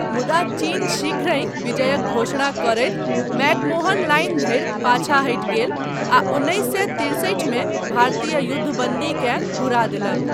मुदा चीन शीघ्रहि विजयक घोषणा करैत मैकमोहन लाइन धरि पाछाँ हटि गेल आ उन्नैस सए तिरसठिमे भारतीय युद्धबन्दीकेँ घुरा देलक।